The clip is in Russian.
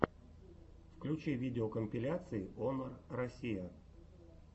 включи видеокомпиляции онор россия